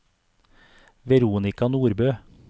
Veronika Nordbø